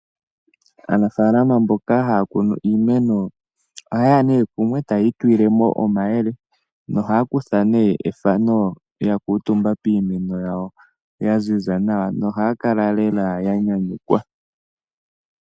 Aanafaalama mboka haya kunu iimeno ohaye ya kumwe e taya itulile mo omayele nohaya kutha ethano ya kuutumba piimeno yawo ya ziza nawa nohaya kala lela ya nyanyukwa.